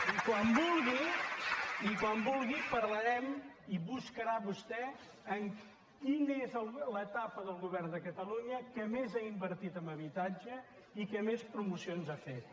i quan vulgui i quan vulgui parlarem i buscarà vostè quina és l’etapa del govern de catalunya que més ha invertit en habitatge i que més promocions ha fet